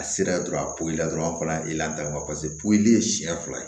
A sera dɔrɔn a poyi la dɔrɔn a fana ta in ma poyi siyɛn fila ye